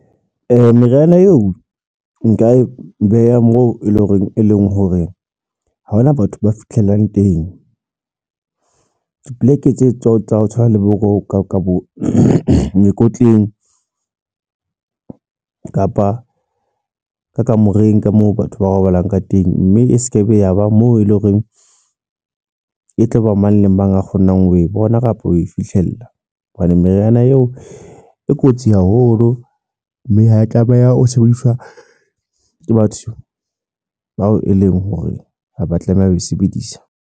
Meriana eo nka e beha moo e leng horeng e leng hore ha hona batho ba fitlhelang teng. Dipoleke tse tsa tsa ho tshwana le bo roka ka bo mekotleng kapa ka kamoreng ka moo batho ba robalang ka teng. Mme e sekebe ya ba moo e leng horeng e tloba mang le mang a kgonang ho e bona kapa o e fihlang. Hobane meriana eo e kotsi haholo, mme ha e tlameha o sebediswa ke batho bao e leng hore haba tlameha ho e sebedisa.